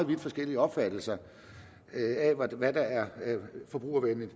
vidt forskellige opfattelser af hvad der er forbrugervenligt